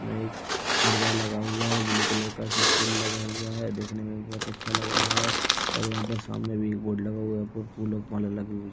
इसमें एक पर्दा लगा हुआ है ब्लू कलर का है इसमें फूल लगा हुआ है दिखने में बहोत अच्छा लग रहा है और यहाँ पर सामने भी एक बोर्ड लगा हुआ है यहाँ पर फूल फाल लगे हुए --